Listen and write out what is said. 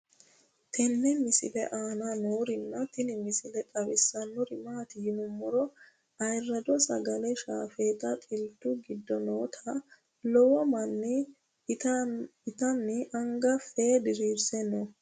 tenne misile aana noorina tini misile xawissannori maati yinummoro ayiirado sagale shaaffetta xiilittu giddo nootta lowo manni ittanni anga fee diriirisse noo